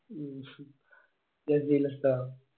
മ്മ് ഹ് ജസീൽ ഉസ്താദോ?